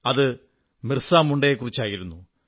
അത് ബിർസാ മുണ്ടയെക്കുറിച്ചായിരുന്നു